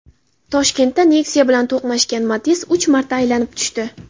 Toshkentda Nexia bilan to‘qnashgan Matiz uch marta aylanib tushdi.